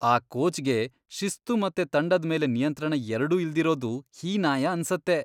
ಆ ಕೋಚ್ಗೆ ಶಿಸ್ತು ಮತ್ತೆ ತಂಡದ್ ಮೇಲೆ ನಿಯಂತ್ರಣ ಎರ್ಡೂ ಇಲ್ದಿರೋದು ಹೀನಾಯ ಅನ್ಸತ್ತೆ.